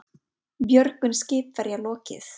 Björgun skipverja lokið